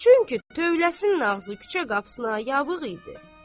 Çünki tövləsinin ağzı küçə qapısına yavuq idi.